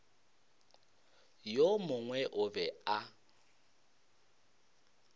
yo mongwe o be a